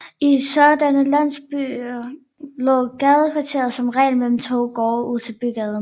I sådanne landsbyer lå gadekæret som regel mellem to gårde ud til bygaden